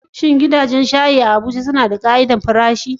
Shin gidajen shayi da ke Abuja suna bin ƙa'idojin farashi?